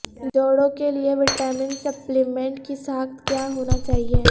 جوڑوں کے لئے وٹامن سپلیمنٹ کی ساخت کیا ہونا چاہئے